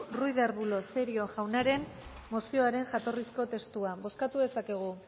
ruiz de arbulo cerio jaunaren mozioaren jatorrizko testua bozkatu dezakegu